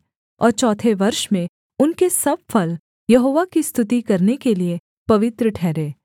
और चौथे वर्ष में उनके सब फल यहोवा की स्तुति करने के लिये पवित्र ठहरें